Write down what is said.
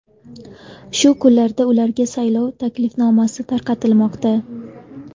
Shu kunlarda ularga saylov taklifnomasi tarqatilmoqda.